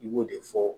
I b'o de fɔ